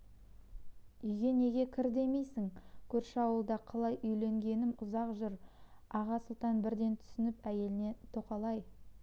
үйге неге кір демейсің көрші ауылда қалай үйленгенім ұзақ жыр аға сұлтан бірден түсініп әйеліне тоқал-ай